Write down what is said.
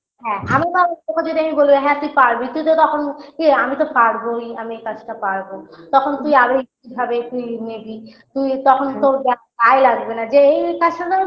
হ্যাঁ আমি কাউকে তোকে যদি আমি বলি হ্যাঁ তুই পারবি তুই তো তখন ইয়ে আমি তো পারবোই আমি এই কাজ টা পারবো তখন তুই আর ওই ভাবে তুই নিবি তুই তখন তোর গায়ে লাগবে না যে এই কাজটা তো